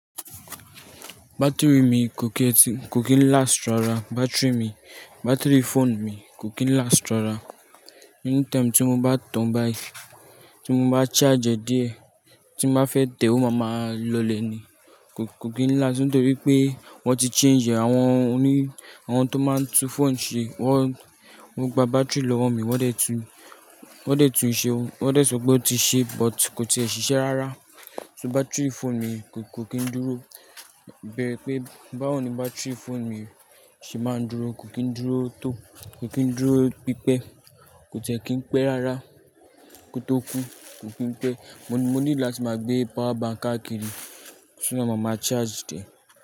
Battery mi kò kí ń last rárá, battery mi, battery phone mi kò kí ń last rárá. Any time tí mo bá tan bayi, tí mo bá charge ẹ́ díẹ̀, tí mo bá fẹ́ tẹ́ o máa ma lọlẹ̀ ni. Kò kí ń last nítorí pé wọ́n ti change ẹ́. Àwọn oní, àwọn tó máa ń tún phone ṣe wọ́n gba battery lọ́wọ́ mi wọ́n dẹ̀ tún, wọ́n dẹ̀ tún un ṣe, wọ́n dẹ̀ sọ pé ó ti ṣe but kò tí ì ṣiṣẹ́ rárá. So battery phone mi kò kí ń dúró. Bẹ́ẹ̀ pé báwo ni battery phone mi ṣe máa ń dúró, kò kí ń dúró tó, kò kí ń dúró pípẹ́, kò tí ẹ́ kí ń pẹ́ rárá, kò tó kú, kò kí ń pẹ́. Mo ní láti máa gbé power bank akíri ṣúgbọ́n máa ma charge tẹ.